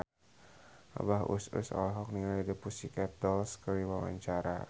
Abah Us Us olohok ningali The Pussycat Dolls keur diwawancara